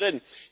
sind drin.